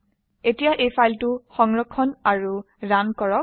এতিয়া এই ফাইলটি সংৰক্ষণ কৰক ৰান কৰক